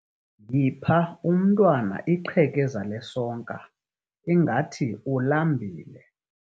Yipha umntwana iqhekeza lesonka, ingathi ulambile.